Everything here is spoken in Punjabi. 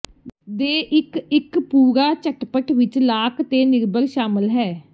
ਦੇ ਇਕ ਇੱਕ ਪੂਰਾ ਝਟਪਟ ਵਿਚ ਲਾਕ ਤੇਨਿਰਭਰ ਸ਼ਾਮਲ ਹੈ